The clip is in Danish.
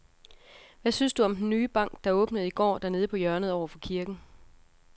Hvad synes du om den nye bank, der åbnede i går dernede på hjørnet over for kirken?